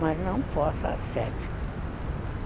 Mas não força cética.